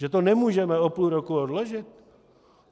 Že to nemůžeme o půl roku odložit?